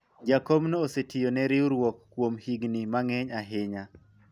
jakomno osetiyone riwruok kuom higni mang'eny ahinya